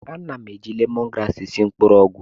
Ana m eji lemon grasi esi mgbọrọgwụ